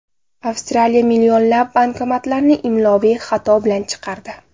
Avstraliya millionlab banknotlarni imloviy xato bilan chiqardi.